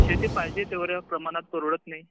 शेती पाहिजे तेव्हढ्या प्रमाणात परवडत नाही